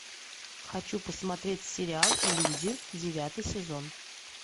хочу посмотреть сериал люди девятый сезон